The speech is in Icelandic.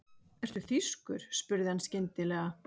Ertu þýskur? spurði hann skyndilega.